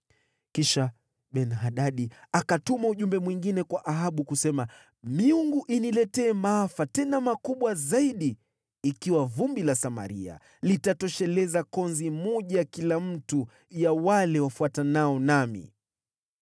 Kisha Ben-Hadadi akatuma ujumbe mwingine kwa Ahabu, kusema “Miungu iniletee maafa, tena makubwa zaidi, ikiwa vumbi la Samaria litatosheleza konzi moja ya kila mtu ya wale wafuatanao nami.”